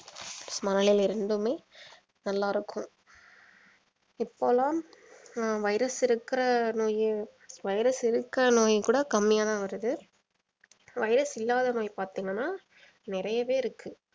மனநிலை ரெண்டுமே நல்லா இருக்கும் இப்போலாம் ஹம் virus இருக்கிற நோய் virus இருக்க நோயும் கூட கம்மியா தான் வருது virus இல்லாத நோய் பாத்தீங்கன்னா நிறையவே இருக்கு